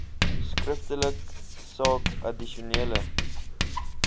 skriftelik saak addisionele